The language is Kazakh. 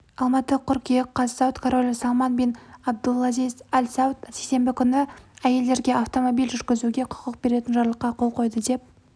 алматы қыркүйек қаз сауд королі салман бин абдул-әзиз әл сауд сейсенбі күні әйелдерге автомобиль жүргізуге құқық беретін жарлыққа қол қойды деп